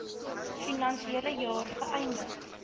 finansiële jaar geëindig